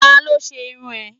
Ta ló ṣe irun rẹ̀?